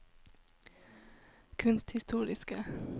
kunsthistoriske